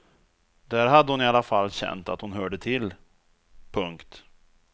Där hade hon i alla fall känt att hon hörde till. punkt